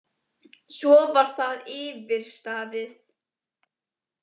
Svo var það yfirstaðið.